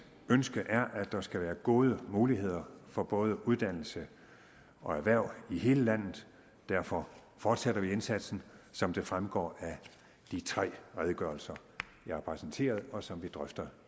ønske er at der skal være gode muligheder for både uddannelse og erhverv i hele landet derfor fortsætter vi indsatsen som det fremgår af de tre redegørelser jeg har præsenteret og som vi drøfter